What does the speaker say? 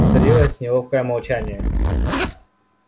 царилось неловкое молчание